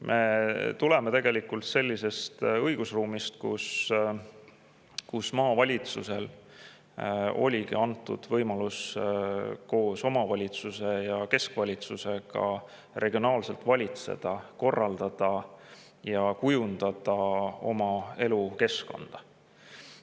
Me tuleme sellisest õigusruumist, kus maavalitsusele oli antud võimalus koos omavalitsuste ja keskvalitsusega regionaalselt valitseda, korraldada ja kujundada elukeskkonda.